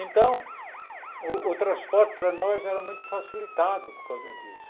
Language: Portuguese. Então, o o transporte para nós era muito facilitado por causa disso.